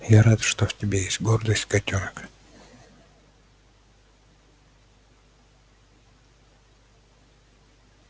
я рад что в тебе есть гордость котёнок